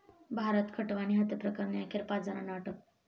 भारत खटवानी हत्येप्रकरणी अखेर पाच जणांना अटक